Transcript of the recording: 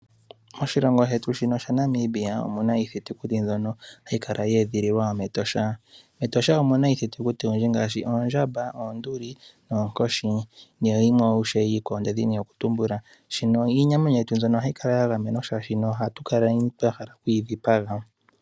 Moshilongo shetu shaNamibia omu na iithitukuti ndyono hayi kala ye edhililwa mEtosha. Etosha omu na iithitukuti oyindji ngaashi oondjamba, oonduli, oonkoshi nayimwe iikwawo. Iinamwenyo mbino ohayi kala ya gamenwa oshoka ohatu kaleni twa hala okuyi dhipaga.